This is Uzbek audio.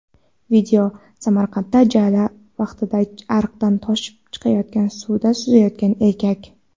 Video: Samarqandda jala vaqtida ariqdan toshib chiqayotgan suvda suzayotgan erkak.